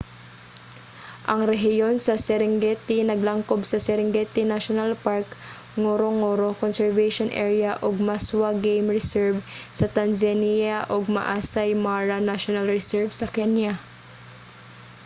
ang rehiyon sa serengeti naglangkob sa serengeti national park ngorongoro conservation area ug maswa game reserve sa tanzania ug maasai mara national reserve sa kenya